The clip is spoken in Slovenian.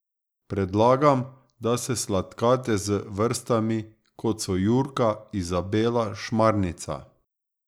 Predlagam, da se sladkate z vrstami, kot so jurka, izabela, šmarnica ...